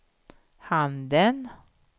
handen